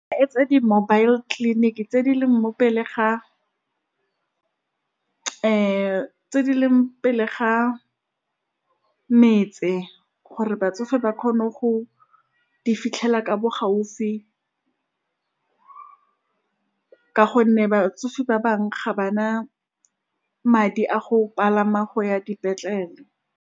Etsa di-mobile clinic tse di leng mopele ga , tse di leng pele ga metse gore batsofe ba kgone go di fitlhelela ka bo gaufi, ka gonne batsofe ba bangwe ga ba na madi a go palama go ya dipetlele.